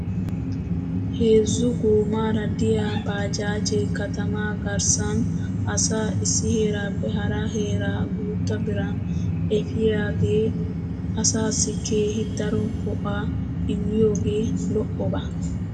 Heezzu goomaara de'iyaa baajaajee katama agrssan asaa issi heeraappe hara heeraa guutta biran efiyoogee asaassi keehi daro go'aa immiyoogee lo'oba.